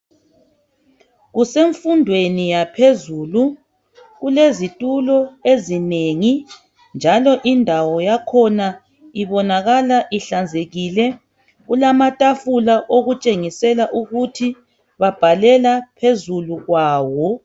Kusemfundweni yaphezulu, kulezitulo ezinengi njalo indawo yakhona ibonakala ihlanzekile. Kulamatafula okutshengisela ukuthi babhalela phezulu kwawo.